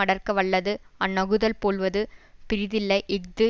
அடர்க்க வல்லது அந்நகுதல் போல்வது பிறிதில்லை இஃது